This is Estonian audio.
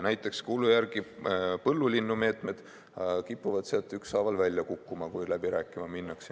Näiteks, kuulu järgi põllulinnumeetmed kipuvad sealt ükshaaval välja kukkuma, kui läbi rääkima minnakse.